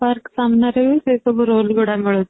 park ସାମ୍ନା ରେ ହିଁ ସେ ସବୁ rollsଗୁଡା ମିଳୁଛି